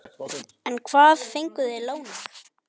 En hvað fengu þeir lánað?